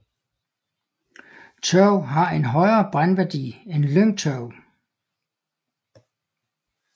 Tørv har en højere brændværdi end lyngtørv